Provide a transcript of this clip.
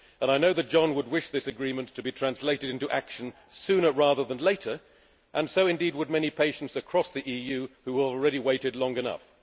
I know that John would wish this agreement to be translated into action sooner rather than later, and so, indeed, would many patients across the EU who have already waited long enough.